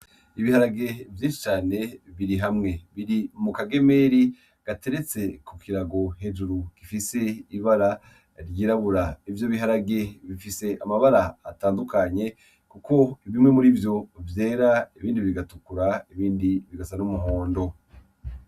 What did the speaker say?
Ibiharage vy'icane biri hamwe biri mu kagemeri gateretse ku kirago hejuru gifise ibara ryirabura ivyo biharage bifise amabara atandukanye, kuko ibimwe muri vyo vyera ibindi bigatukura ibindi bigasa n'umuhondo.